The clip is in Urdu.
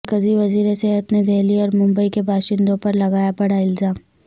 مرکزی وزیر صحت نے دہلی اور ممبئی کے باشندوں پر لگایا بڑا الزام